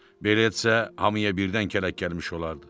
Belə etsə, hamıya birdən kələk gəlmiş olardı.